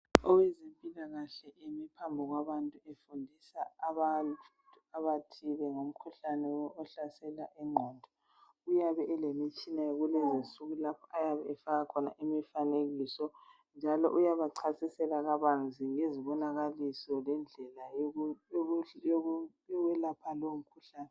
Owezempilakahle emi phambi kwabantu efundisa abantu abathile ngomkhuhlane ohlasela ingqondo uyabe elemitshina yokulungisa lapho ayabe efaka khona imifanekiso njalo uyabachasisela kabanzi ngezibonakaliso lendlela yokuyelapha lowo mkhuhlane